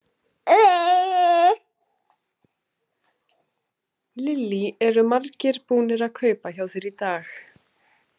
Lillý: Eru margir búnir að kaupa hjá þér í dag?